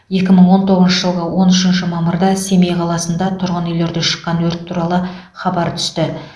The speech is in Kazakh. екі мың он тоғызыншы жылғы он үшінші мамырда семей қаласында тұрғын үйлерде шыққан өрт туралы хабар түсті